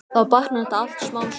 Þá batnar þetta allt smám saman.